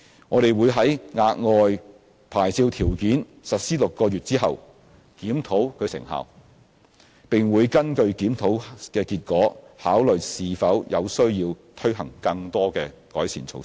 我們會在額外牌照條件實施6個月後檢討其成效，並會根據檢討結果，考慮是否有需要推行更多改善措施。